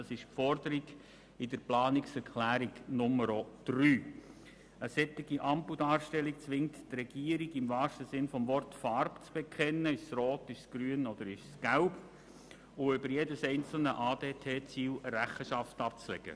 Eine solche Ampeldarstellung zwingt die Regierung im wahrsten Sinn des Wortes, Farbe zu bekennen, Rot, Grün oder Gelb, und über jedes einzelne ADT-Ziel Rechenschaft abzulegen.